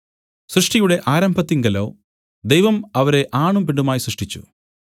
സൃഷ്ടിയുടെ ആരംഭത്തിങ്കലോ ദൈവം അവരെ ആണും പെണ്ണുമായി സൃഷ്ടിച്ചു